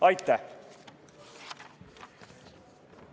Aitäh!